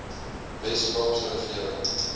wes kaapse regering